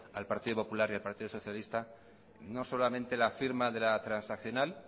al partido popular y al partido socialista no solamente la firma de la transaccional